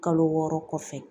Kalo wɔɔrɔ kɔfɛ